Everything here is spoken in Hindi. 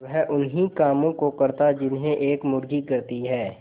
वह उन्ही कामों को करता जिन्हें एक मुर्गी करती है